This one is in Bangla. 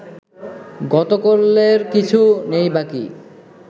গতকল্যের কিছু নেই বাকি